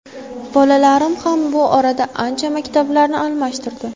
Bolalarim ham bu orada qancha maktablarni almashtirdi.